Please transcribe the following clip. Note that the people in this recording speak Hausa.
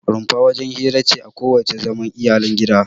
Rumfa wajen hira ce ko wajen zaman iyalan gida.